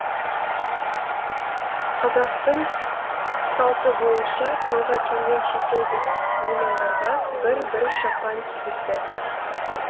қазақтың салты бойынша тойға келген шетелдік меймандарға бір бір шапан кигізді